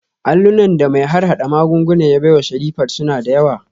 Allunan da mai harhada magunguna ya baiwa Sherifat suna da yawa